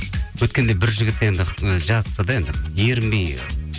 өткенде бір жігіт енді жазыпты да енді ерінбей